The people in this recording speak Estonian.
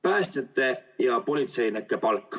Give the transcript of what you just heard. Päästjate ja politseinike palk.